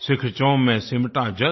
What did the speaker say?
सीखचों में सिमटा जग